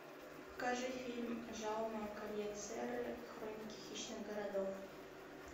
покажи фильм жауме кольет серры хроники хищных городов